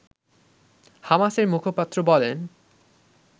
হামাসের মুখপাত্র বলেন